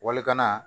Walikana